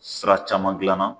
Sira caman gilan na